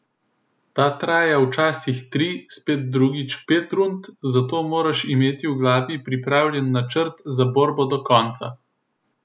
Ta traja včasih tri, spet drugič pet rund, zato moraš imeti v glavi pripravljen načrt za borbo do konca.